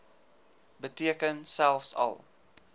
beteken selfs al